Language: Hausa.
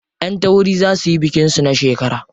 Ƴan tauri za suyi bikin su na shekara.